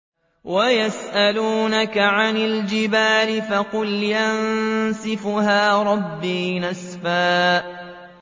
وَيَسْأَلُونَكَ عَنِ الْجِبَالِ فَقُلْ يَنسِفُهَا رَبِّي نَسْفًا